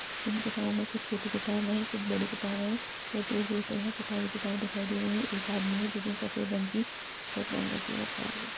इन किताबों में कुछ छोटी किताब हैं कुछ बड़ी किताब हैं यह दूर दूर तक यहाँ किताब किताब दिखाई दे रही हैं एक आदमी है जिसने सफेद रंग शर्ट की शर्ट पहन रखी है वह खड़ा है।